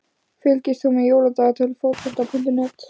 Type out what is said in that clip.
Fylgist þú með Jóladagatali Fótbolta.net?